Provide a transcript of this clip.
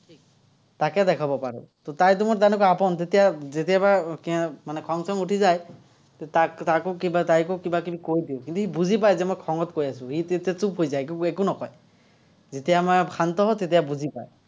তাকে দেখাব পাৰো। তাই তোমাৰ তেনেকুৱা আপোন, তেতিয়া খং- উঠি যায়। তাকো কিবা, তাইকো কিবা কৈ দিওঁ, কিন্তু, সি বুজি পাই যে মই খঙত কৈ আছো, সি তেতিয়া চুপহৈ যায়। তেতিয়া একো নকয়। যেতিয়া মই শান্ত হওঁ, তেতিয়া বুজি পায়।